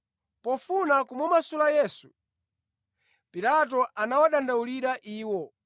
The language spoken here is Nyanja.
Pofuna kumumasula Yesu, Pilato anawadandaulira iwo.